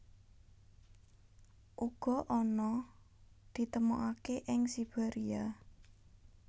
Ana uga kang ditemokaké ing Siberia